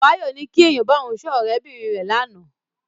Báyọ̀ ní kí èèyàn bá òun sọ ọ̀rẹ́ bìnrin rẹ̀ lánàá.